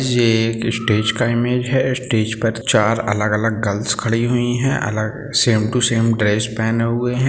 ये एक स्टेज का इमेज है स्टेज पे चार अलग-अलग गर्ल्स खड़ी हुई है अलग सेम टू सेम ड्रेस पहनें हुए है।